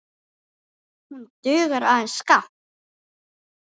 Hún dugar aðeins skammt.